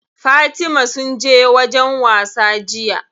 Fatima sun je wajen wasa jiya.